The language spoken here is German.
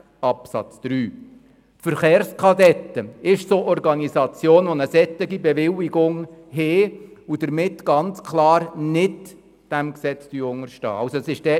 Die Verkehrskadetten sind eine Organisation, die eine derartige Bewilligung hat und somit ganz klar nicht diesem Gesetz unterstellt ist.